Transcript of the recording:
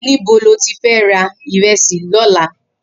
Nibò ló ti fè rà irèsí lòlá?